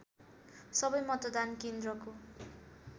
सबै मतदान केन्द्रको